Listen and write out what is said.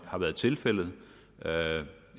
har været tilfældet jeg